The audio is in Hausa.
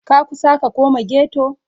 Ka kusa ka koma ghetto?